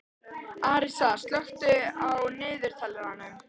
Arisa, slökktu á niðurteljaranum.